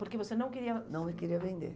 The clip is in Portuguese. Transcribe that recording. Porque você não queria... Não queria vender.